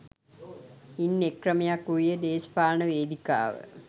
ඉන් එක් ක්‍රමයක් වූයේ දේශපාලන වේදිකාව